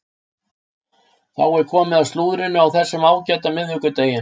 Þá er komið að slúðrinu á þessum ágæta miðvikudegi.